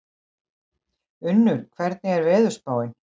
Unnur, hvernig er veðurspáin?